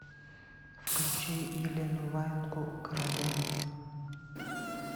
включи елену ваенгу королева